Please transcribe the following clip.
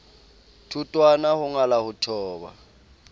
thotwana ho ngala ho thoba